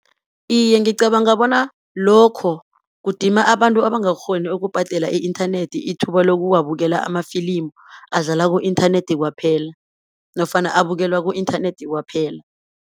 Iye ngicabanga bona, lokho kudima abantu abangakghoni ukubhadela i-inthanethi ithuba lokuwabukela amafilimu, adlala ku-inthanethi kwaphela, nofana abukelwa ku -inthanethi kwaphela.